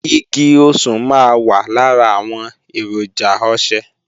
Igi osùn máa wà lára àwọn èròjà ọṣẹ